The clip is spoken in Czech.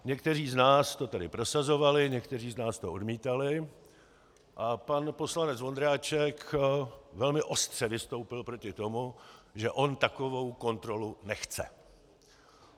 Někteří z nás to tady prosazovali, někteří z nás to odmítali - a pan poslanec Ondráček velmi ostře vystoupil proti tomu, že on takovou kontrolu nechce.